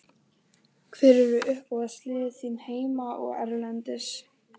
Hver eru uppáhaldslið þín heima og erlendis?